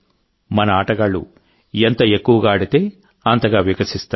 మన ఆటగాళ్లు ఎంత ఎక్కువగా ఆడితే అంతగా వికసిస్తారు